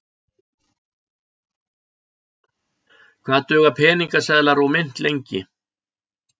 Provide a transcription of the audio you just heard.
Hvað duga peningaseðlar og mynt lengi?